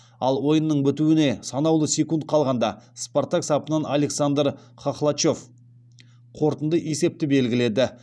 ал ойынның бітуіне санаулы секунд қалғанда спартак сапынан александр хохлачев қорытынды есепті белгіледі